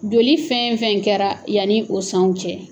Joli fɛn fɛn kɛra yanni o sanw cɛ